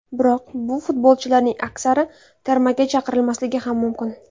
Biroq bu futbolchilarning aksari termaga chaqirilmasligi ham mumkin.